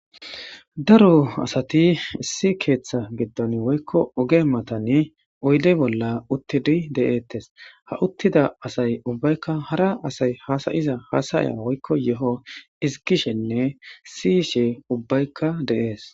daro asati issi keeththa geddan woykko oge matani oyde bolla uttidi de7eettes ha uttida asay ubbaykka hara asay haasayiza haasaya woykko yeho isigishenne siishi ubbaykka deees